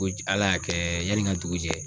Ko ji ala y'a kɛ yani n ka dugu jɛ